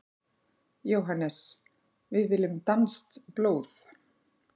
JÓHANNES: Við viljum danskt blóð!